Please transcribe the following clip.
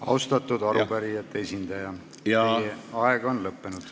Austatud arupärijate esindaja, teie aeg on lõppenud.